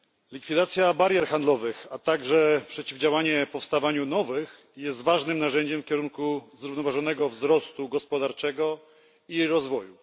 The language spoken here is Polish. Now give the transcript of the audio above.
Likwidacja barier handlowych, a także przeciwdziałanie powstawaniu nowych jest ważnym narzędziem w kierunku zrównoważonego wzrostu gospodarczego i rozwoju.